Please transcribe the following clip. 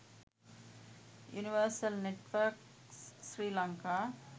universal networks sri lanka